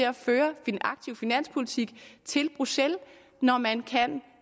at føre en aktiv finanspolitik til bruxelles når man kan